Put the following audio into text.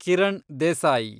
Kiran Desai